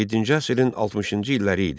Yeddinci əsrin 60-cı illəri idi.